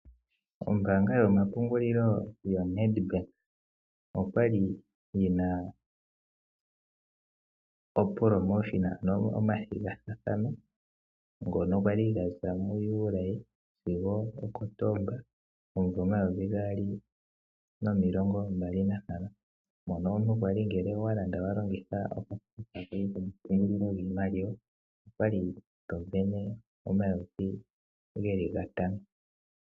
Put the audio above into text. Ombanga yomapungulilo yoNedbank okwali yena ompiito dhoku vena. Ano omathigathano ngono kwali gaza muJuli sigo oKotomba omumvo omayovi gaali nomilongo mbali nantano. Mono omuntu kwali ngele owa landa wa longitha okakalata koye komapungulilo giimaliwa okwali to vene omayovi geli gatano.